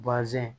Bazɛn